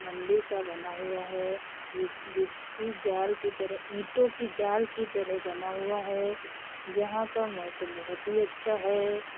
मंदिर सा बना हुआ है जिस जिसकी जाल की तरह ईटों की जाल की तरह बना हुआ है। यहाँ का मोसम बोहोत ही अच्छा है।